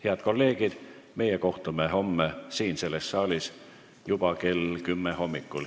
Head kolleegid, meie kohtume homme selles saalis juba kell 10 hommikul.